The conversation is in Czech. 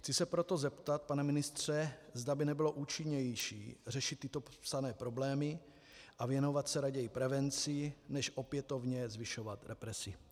Chci se proto zeptat, pane ministře, zda by nebylo účinnější, řešit tyto popsané problémy a věnovat se raději prevenci než opětovně zvyšovat represi.